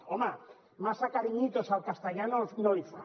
home massa cariñitos al castellà no li fa